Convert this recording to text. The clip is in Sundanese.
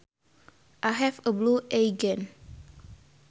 I have a blue eye gene